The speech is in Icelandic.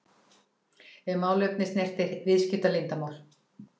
ef málefni snertir viðskiptaleyndarmál.